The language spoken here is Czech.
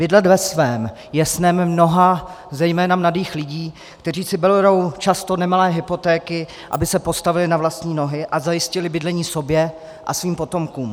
Bydlet ve svém je snem mnoha, zejména mladých lidí, kteří si berou často nemalé hypotéky, aby se postavili na vlastní nohy a zajistili bydlení sobě a svým potomkům.